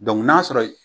n'a sɔrɔ